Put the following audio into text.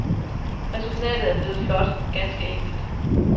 Resultatet er blevet flot, ganske enkelt.